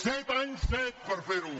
set anys set per fer·ho